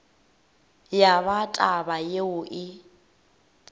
ya ba taba yeo e